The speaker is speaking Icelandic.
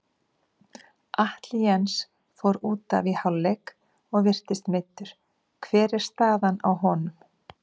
Atli Jens fór útaf í hálfleik og virtist meiddur, hver er staðan á honum?